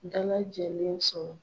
Da lajɛlen sɔrɔ.